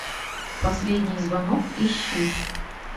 последний звонок ищи